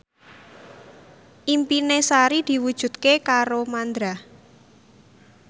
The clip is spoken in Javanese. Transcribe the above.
impine Sari diwujudke karo Mandra